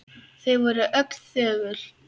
Þau voru öll þögul.